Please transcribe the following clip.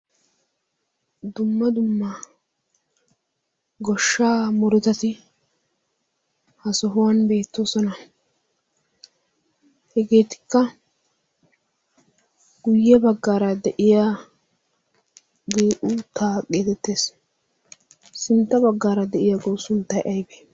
dumma dumma goshshaa murutati ha sohuwan beettoosona. hegeetikka guyye baggaara de7iyagee uut taa geetettees. sintta baggaara de7iyagawu sunttai aibe?